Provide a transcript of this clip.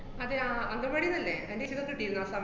അതെ അംഗന്‍വാടീന്നല്ലേ തന്റെ കിട്ടീരുന്നു നോകാം